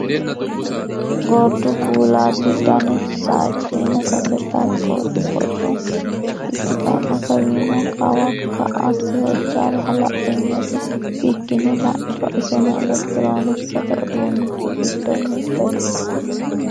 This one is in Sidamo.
Gordu kuulati danu sajinna sase takkote boco ikkittano kawinoe kawa ka"ase hojano hala'linyeseno bikkine la'niro iseno elekitironkisete uduunchi giddo mitete .